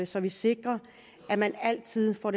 så vi sikrer at man altid får